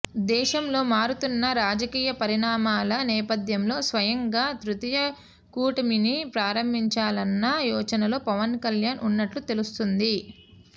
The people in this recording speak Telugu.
దేశంలో మారుతున్న రాజకీయ పరిణామాల నేపథ్యంలో స్వయంగా తృతీయ కూటమిని ప్రారంభించాలన్న యోచనలో పవన్ కల్యాణ్ ఉన్నట్టు తెలుస్తోంది